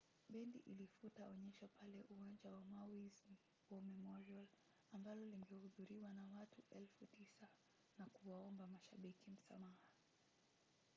bendi ilifuta onyesho pale uwanja wa maui’s war memorial ambalo lingehudhuriwa na watu 9,000 na kuwaomba mashabiki msamaha